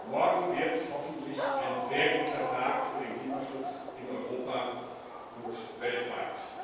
Morgen wird hoffentlich ein sehr guter Tag für den Klimaschutz in Europa und weltweit.